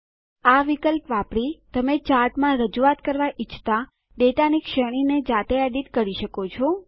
આ વિકલ્પ વાપરી તમે ચાર્ટમાં રજૂઆત કરવાં ઈચ્છતા ડેટાની શ્રેણીને જાતે એડીટ કરી શકો છો